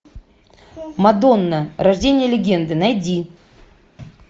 мадонна рождение легенды найди